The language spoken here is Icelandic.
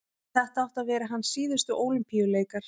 þetta áttu að vera hans síðustu ólympíuleikar